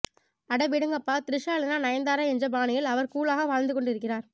அட விடுங்கப்பா திரிஷா இல்லனா நயன்தாரா என்ற பாணியில் அவர் கூலாக வாழ்ந்து கொண்டு இருக்கிறார்